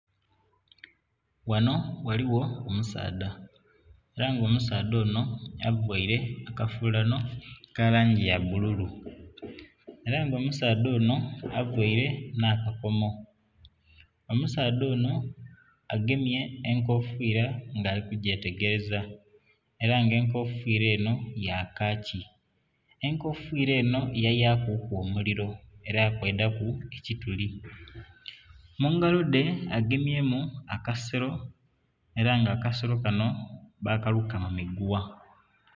Ghano ghaligho omusaadha era nga omusaadha onho avaire akafulano aka langi ya bululu era nga omusaadha onho avaire nha kakomo. Omusaadha onho agemye enkofira nga ali kugya tegeleza era nga ekofira enho ya kakii. Enkofira enho yabaku ku omuliro era kweidha ku ekituli. Mungalo dhe agemyemu akasero era nga akasero kanho bakaluka mu migugha.